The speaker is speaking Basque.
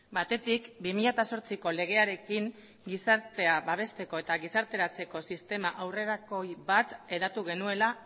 batetik bi mila zortziko legearekin gizartea babesteko eta gizarteratzeko sistema aurrerakoi bat hedatu genuela